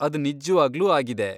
ಅದ್ ನಿಜವಾಗ್ಲೂ ಆಗಿದೆ.